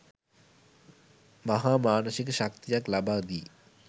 මහා මානසික ශක්තියක් ලබාදී,